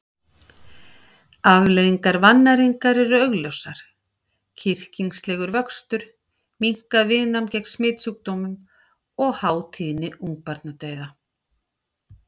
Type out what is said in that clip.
Afleiðingar vannæringar eru augljósar: kyrkingslegur vöxtur, minnkað viðnám gegn smitsjúkdómum og há tíðni ungbarnadauða.